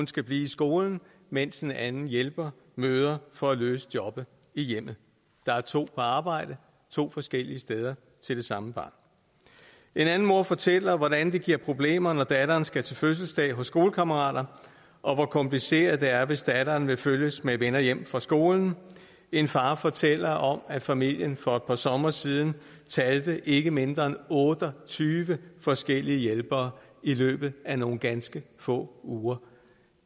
skal blive i skolen mens den anden hjælper møder for at løse jobbet i hjemmet der er to forskellige arbejde to forskellige steder til det samme barn en anden mor fortæller hvordan det giver problemer når datteren skal til fødselsdag hos skolekammerater og hvor kompliceret det er hvis datteren vil følges med venner hjem fra skole en far fortæller om at familien for et par somre siden talte ikke mindre end otte og tyve forskellige hjælpere i løbet af nogle ganske få uger